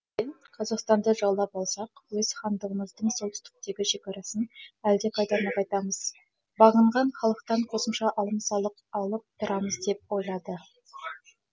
қазақстанды жаулап алсақ өз хандығымыздың солтүстіктегі шекарасын әлдеқайда нығайтамыз бағынған халықтан қосымша алым салық алып тұрамыз деп ойлады